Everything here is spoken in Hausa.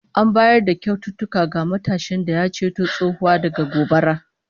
An bayar da kyaututtuka ga matashin da ya ceto tsohuwa daga gobara